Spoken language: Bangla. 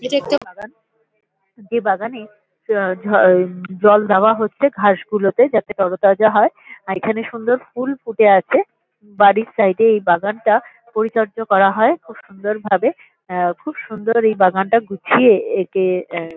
এটা একটা বাগান। এই বাগানে যা ঝল জল দেওয়া হচ্ছে ঘাস গুলোতে যাতে তরতাজা হয় আর এখানে সুন্দর ফুল ফুটে আছে। বাড়ির সাইড -এ এই বাগানটা পরিচর্যা করা হয় খুব সুন্দর ভাবে। আ খুব সুন্দর এই বাগানটা গুছিয়ে একে আ--